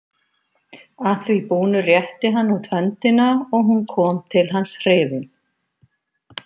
Að því búnu rétti hann út höndina og hún kom til hans hrifin.